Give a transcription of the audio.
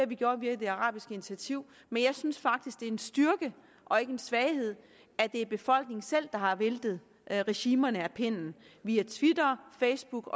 vi gjort via det arabiske initiativ men jeg synes faktisk det er en styrke og ikke en svaghed at det er befolkningen selv der har væltet regimerne af pinden via twitter facebook